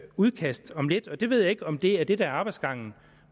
udkast om lidt jeg ved ikke om det er det der er arbejdsgangen